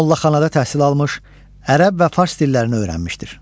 Mollaxanada təhsil almış, ərəb və fars dillərini öyrənmişdir.